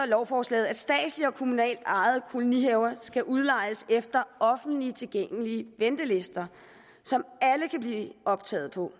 lovforslaget at statsligt og kommunalt ejede kolonihaver skal udlejes efter offentligt tilgængelige ventelister som alle kan blive optaget på